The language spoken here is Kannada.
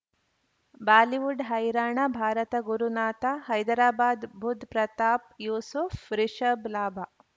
ಬಾಲಿವುಡ್ ಹೈರಾಣ ಭಾರತ ಗುರುನಾಥ ಹೈದರಾಬಾದ್ ಬುಧ್ ಪ್ರತಾಪ್ ಯೂಸುಫ್ ರಿಷಬ್ ಲಾಭ